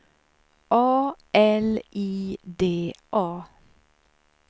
A L I D A